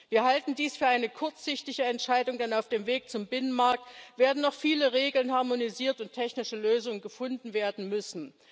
Wir halten dies für eine kurzsichtige Entscheidung, denn auf dem Weg zum Binnenmarkt werden noch viele Regeln harmonisiert und technische Lösungen gefunden werden müssen.